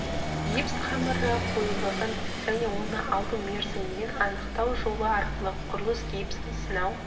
гипс қамыры қоюлығын және оны алу мерзімімен анықтау жолы арқылы құрылыс гипсін сынау